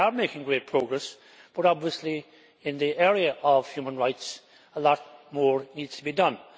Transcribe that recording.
They are making great progress, but obviously in the area of human rights a lot more needs to be done.